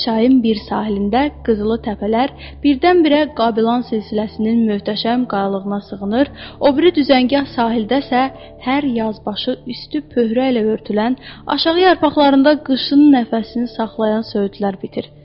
Çayın bir sahilində qızılı təpələr birdən-birə Qablan silsiləsinin möhtəşəm qayalığına sığınır, o biri düzəngah sahildə isə hər yaz başı üstü pöhrə ilə örtülən, aşağı yarpaqlarında qışın nəfəsini saxlayan söyüdlər bitir.